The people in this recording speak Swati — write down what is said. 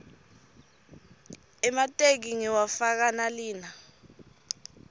emateki ngiwafaka nalina